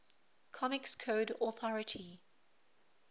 comics code authority